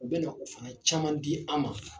U bɛna o fana caman di an ma